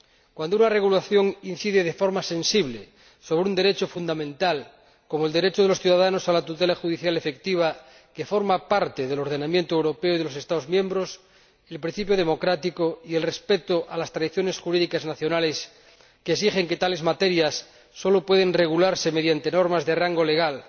Cuando una regulación incide de forma sensible sobre un derecho fundamental, como el derecho de los ciudadanos a la tutela judicial efectiva que forma parte del ordenamiento europeo y del de los Estados miembros el principio democrático y el respeto de las tradiciones jurídicas nacionales que exigen que tales materias sólo pueden regularse mediante normas de rango legal,